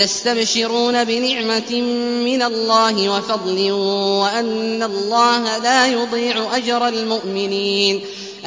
۞ يَسْتَبْشِرُونَ بِنِعْمَةٍ مِّنَ اللَّهِ وَفَضْلٍ وَأَنَّ اللَّهَ لَا يُضِيعُ أَجْرَ الْمُؤْمِنِينَ